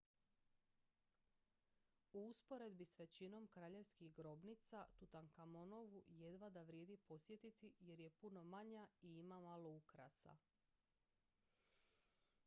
u usporedbi s većinom kraljevskih grobnica tutankamonovu jedva da vrijedi posjetiti jer je puno manja i ima malo ukrasa